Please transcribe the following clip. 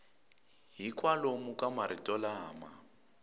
hi kwalomu ka marito lama